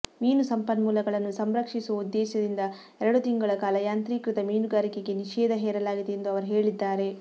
ಮೀನು ಸಂಪನ್ಮೂಲಗಳನ್ನು ಸಂರಕ್ಷಿಸುವ ಉದ್ದೇಶದಿಂದ ಎರಡು ತಿಂಗಳ ಕಾಲ ಯಾಂತ್ರೀಕೃತ ಮೀನುಗಾರಿಕೆಗೆ ನಿಷೇಧ ಹೇರಲಾಗಿದೆ ಎಂದು ಅವರು ಹೇಳಿದ್ದಾರೆ